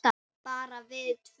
Bara við tvö?